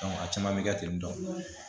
a caman bɛ kɛ ten tɔ